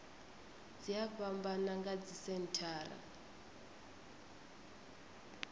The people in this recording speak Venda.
dzi a fhambana nga dzisenthara